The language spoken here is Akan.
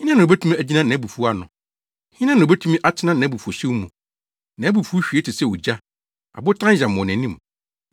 Hena na obetumi agyina nʼabufuw ano? Hena na obetumi atena nʼabufuwhyew mu? Nʼabufuw hwie te sɛ ogya; abotan yam wɔ nʼanim.